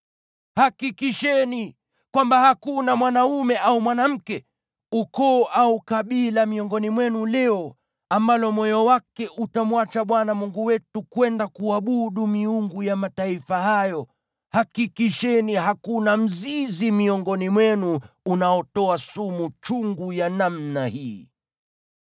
Hakikisheni kwamba hakuna mwanaume au mwanamke, ukoo au kabila miongoni mwenu leo ambalo moyo wake utamwacha Bwana Mungu wetu, kwenda kuabudu miungu ya mataifa hayo. Hakikisheni hakuna mzizi miongoni mwenu unaotoa sumu chungu ya namna hii.